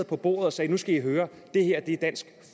på bordet og sagde nu skal i høre det her er dansk